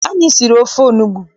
Anyị siri ofe onugbu.